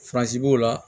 b'o la